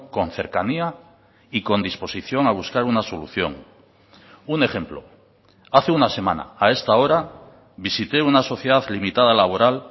con cercanía y con disposición a buscar una solución un ejemplo hace una semana a esta hora visité una sociedad limitada laboral